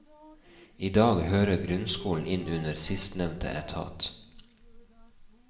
I dag hører grunnskolen inn under sistnevnte etat.